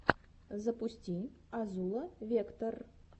запусти азула вектор